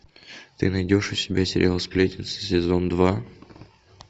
ты найдешь у себя сериал сплетница сезон два